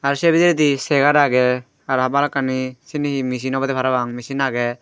se bidiredi chair agey aro bhalokkani cibi he machine obode parapang machine agey.